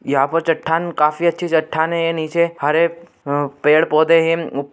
यहाँ पे चट्टान काफी अच्छी चट्टान है ये नीचे हरे उम्म पेड़-पौधे हैं।